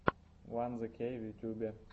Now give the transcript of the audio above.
ван зе кей в ютубе